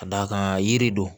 Ka d'a kan yiri don